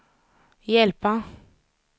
hjälpa